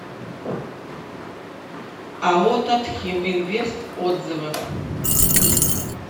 ао татхим инвест отзывы